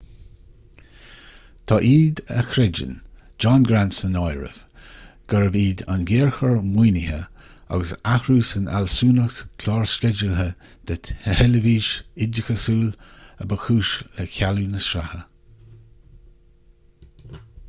tá iad a chreideann john grant san áireamh gurbh iad an géarchor maoinithe agus athrú san fhealsúnacht chlársceidealaithe de theilifís oideachasúil a ba chúis le cealú na sraithe